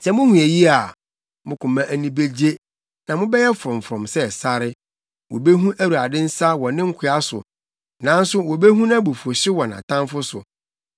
Sɛ muhu eyi a, mo koma ani begye na mobɛyɛ frɔmfrɔm sɛ sare; wobehu Awurade nsa wɔ ne nkoa so, nanso wobehu nʼabufuwhyew wɔ nʼatamfo so.